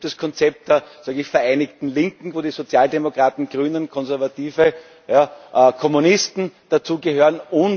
Es gibt das Konzept der vereinigten Linken, wozu die Sozialdemokraten, Grünen, Konservative, ja Kommunisten gehören.